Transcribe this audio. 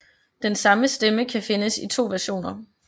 Den samme stemme kan findes i to versioner